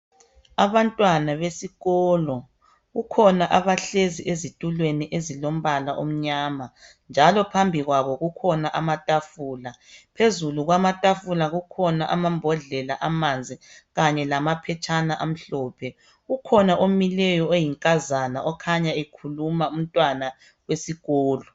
Abantwana besikolo kukhona abahlezi ezitulweni ezilombala omnyama njalo phambi kwabo kukhona amatafula phezulu kwamatafula kukhona amambodlela amanzi kanye lamaphetshana amhlophe kukhona omileyo oyinkazana okhanya ekhuluma umntwana wesikolo.